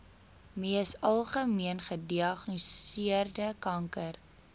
mees algemeengediagnoseerde kanker